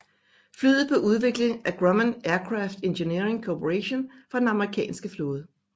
Flyet blev udviklet af Grumman Aircraft Engineering Corporation for den amerikanske flåde